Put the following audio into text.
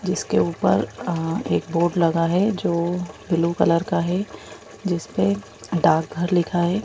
इसके ऊपर एक बोर्ड लगा है जो ब्लू कलर का है जिस पे डार्क घर लिखा है।